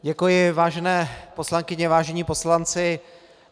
Děkuji, vážené poslankyně, vážení poslanci.